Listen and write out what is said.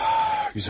Gözəl.